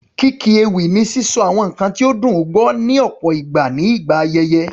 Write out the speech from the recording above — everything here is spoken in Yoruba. Kíkí ewì ni sísọ àwọn nǹkan ní ó dùn gbọ́, ní ọ̀pọ̀ ìgbà nígbà ayẹyẹ.